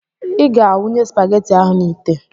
Ị ga a wụnye spageti ahụ n'itè!